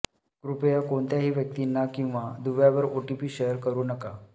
कृपया कोणत्याही व्यक्तींना किंवा दुव्यावर ओटीपी शेअर करू नका